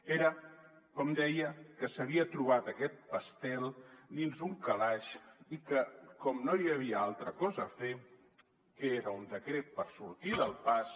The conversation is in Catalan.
era com deia que s’havia trobat aquest pastís dins d’un calaix i que com no hi havia altra cosa a fer que era un decret per sortir del pas